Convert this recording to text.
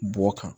Bɔ kan